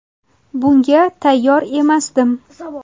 Bunga tayyor emasdim.